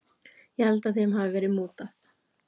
Ég held að þeim hafi verið mútað.